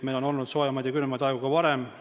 Meil on olnud soojemaid ja külmemaid aegu ka varem.